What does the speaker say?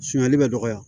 Sumanli bɛ dɔgɔya